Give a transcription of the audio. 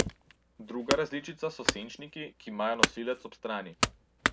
Druga različica so senčniki, ki imajo nosilec ob strani.